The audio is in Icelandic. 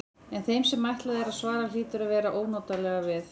En þeim sem ætlað er að svara hlýtur að verða ónotalega við.